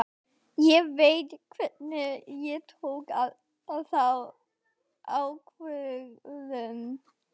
Ég veit hvenær ég tók þá ákvörðun.